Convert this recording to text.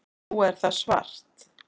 Nú er það svart